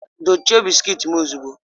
Dochie bisikiiti m ozugbo!